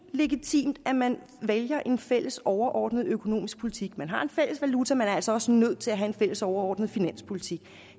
legitimt at man vælger en fælles overordnet økonomisk politik man har en fælles valuta man er altså også nødt til at have en fælles overordnet finanspolitik